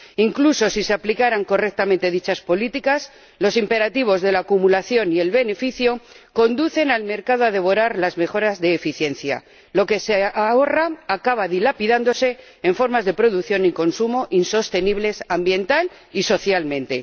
Incluso si se aplicaran correctamente dichas políticas, los imperativos de la acumulación y el beneficio conducen al mercado a devorar las mejoras de eficiencia lo que se ahorra acaba dilapidándose en formas de producción y consumo insostenibles, ambiental y socialmente.